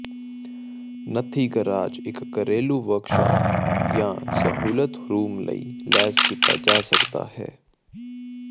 ਨੱਥੀ ਗਰਾਜ ਇੱਕ ਘਰੇਲੂ ਵਰਕਸ਼ਾਪ ਜਾਂ ਇੱਕ ਸਹੂਲਤ ਰੂਮ ਲਈ ਲੈਸ ਕੀਤਾ ਜਾ ਸਕਦਾ ਹੈ